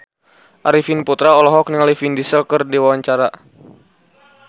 Arifin Putra olohok ningali Vin Diesel keur diwawancara